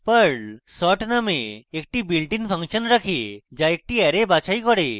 perl sort নামে একটি built in function রাখে যা একটি অ্যারে বাছাই করে